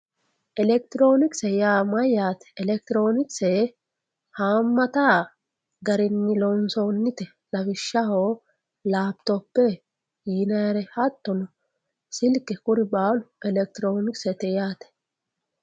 Elekitironikise yaa mayaate elekitronkiise haamata garin loonsoonite lawishsha lapitope yinayire hatonno silke kuri baalu elekitironkiste yaate